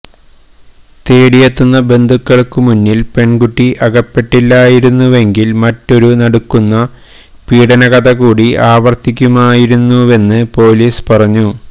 തേടിയെത്തിയ ബന്ധുക്കൾക്കു മുന്നിൽ പെൺകുട്ടി അകപ്പെട്ടില്ലായിരുന്നുവെങ്കിൽ മറ്റൊരു നടുക്കുന്ന പീഡനകഥ കൂടി ആവർത്തിക്കുമായിരുന്നുവെന്ന് പൊലീസ് പറഞ്ഞു